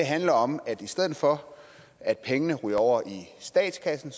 handler om at i stedet for at pengene ryger over i statskassen